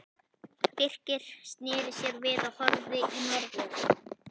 Birkir sneri sér við og horfði í norður.